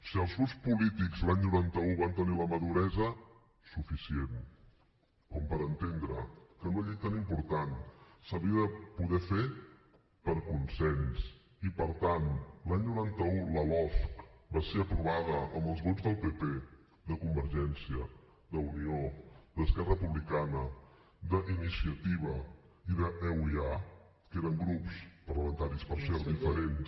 si els grups polítics l’any noranta un van tenir la maduresa suficient com per entendre que una llei tan important s’havia de poder fer per consens i per tant l’any noranta un la losc va ser aprovada amb els vots del pp de convergència d’unió d’esquerra republicana d’iniciativa i d’euia que eren grups parlamentaris per cert diferents